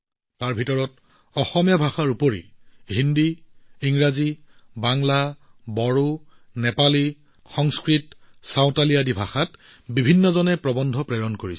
তাৰে ভিতৰত অসমীয়া ভাষাৰ উপৰিও মানুহে হিন্দী ইংৰাজী বাংলা বড়ো নেপালী সংস্কৃত আৰু চাওতালি আদি ভাষাত প্ৰৱন্ধ প্ৰেৰণ কৰিছে